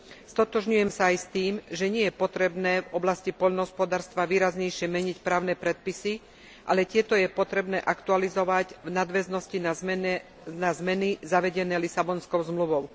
Stotožňujem sa aj s tým, že nie je potrebné v oblasti poľnohospodárstva výraznejšie meniť právne predpisy, ale tieto je potrebné aktualizovať v nadväznosti na zmeny zavedené Lisabonskou zmluvou.